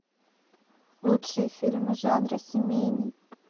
лучшие фильмы жанра семейный